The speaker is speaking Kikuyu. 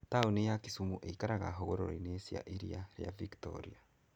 Taũni ya Kisumu ĩikaraga hũgũrũrũ-inĩ cia Iria rĩa Victoria.